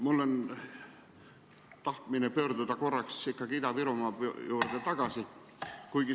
Mul on tahtmine pöörduda korraks ikkagi Ida-Virumaa juurde tagasi.